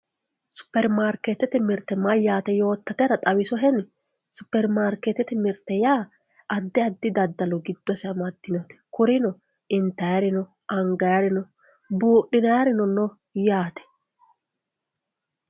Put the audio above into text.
supermarikeetete mirte mayaate yootatera xawisoheni supermarikeetete mirte yaa addi addi daddalo giddose amadioote kurino intaayiri no angaayiiri no buuxinayiirino no yaate